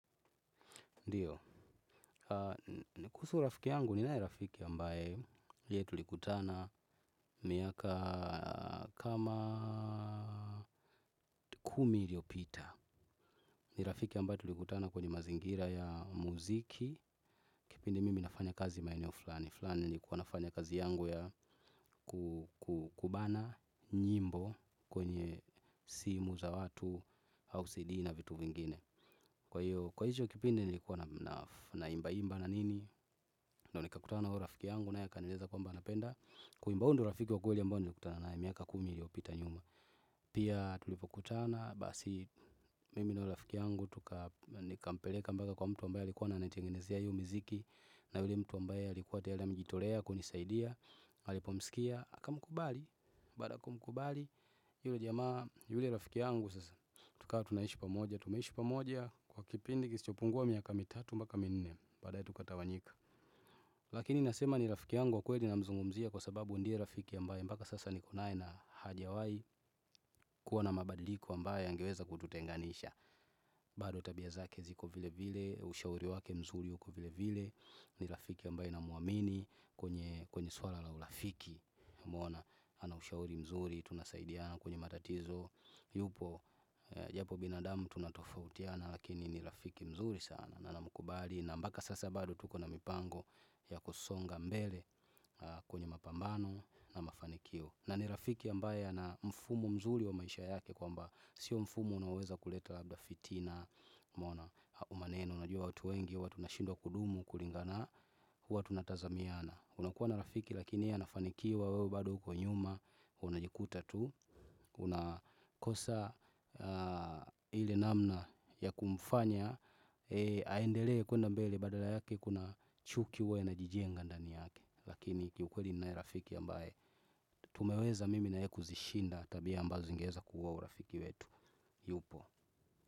Ndiyo, kuhusu rafiki yangu ni naye rafiki ambaye yeye tulikutana miaka kama kumi iliyo pita. Ni rafiki ambaye tulikutana kwenye mazingira ya muziki. Kipindi mimi nafanya kazi maeneo fulani fulani ni kuwa nafanya kazi yangu ya kubana nyimbo kwenye simu za watu au CD na vitu vingine. Kwa hiyo kipindi nili kuwa na imba imba na nini. Ndiyoni kakutana huo rafiki yangu naye a kanieleza kwamba anapenda. Kuimbahuyondio rafiki wakwelia mbaye nilikutana naye miaka kumi iliyopita nyuma. Pia tulipo kutana basi mimi na huyo rafiki yangu. Tuka nika mpeleka mpaka kwa mtu ambaye alikuwa ananitengenezea hiyo miziki. Na yule mtu ambaye alikuwa tayariame jitolea kunisaidia alipo msikia, aka mkubali. Baadaya kumkubali, yule jamaa yule rafiki yangu sasa. Tukawa tunaishi pamoja, tumeishi pamoja. Kwa kipindi kisichopungua miaka mitatu mpaka minne. Baadaye tukatawanyika. Lakini nasema ni rafiki yanguwa kweli na mzungumzia. Kwa sababu ndiye rafiki ambaye mpaka sasa nikonaye na hajawai kuwa na mabadiliko ambaye yangeweza kututenganisha. Bado tabia zake ziko vile vile. Ushauri wake mzuri uko vile vile. Ni rafiki ambaye na mwamini. Kwenye swala la urafiki umeona ana ushauri mzuri. Tunasaidiana kwenye matatizo. Yupo japo binadamu tunatofautiana. Lakini ni rafiki mzuri sana. Na na mkubali na mpaka sasa bado tukona mipango ya kusonga mbele kwenye mapambano na mafanikio. Na nirafiki ambayea na mfumo mzuri wa maisha yake. Kwa mba sio mfumo unaoweza kuleta labda fitina umeona maneno, unajua watu wengi, huwatu na shindwa kudumu, kulingana huwatu natazamiana. Unakuwa na rafiki lakini yeye anafanikiwa wewe bado ukonyuma. Unajikuta tu. Unakosa ile namna ya kumfanya aendele kwenda mbele badala yake kuna chukihuwa ina jije ngandani yake. Lakini kiukweli ninaye rafiki ambaye tumeweza mimi naye ye kuzishinda tabia ambazo zingeweza kuua urafiki wetu. Yupo.